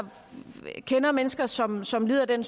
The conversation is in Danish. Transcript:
kender mennesker som som lider af den